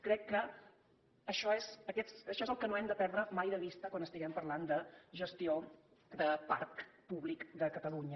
crec que això és el que no hem de perdre mai de vista quan parlem de gestió de parc públic de catalunya